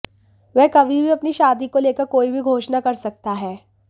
वह कभी भी अपनी शादी को लेकर कोई भी घोषणा कर सकता है